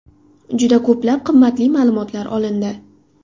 Juda ko‘plab qimmatli ma’lumotlar olindi.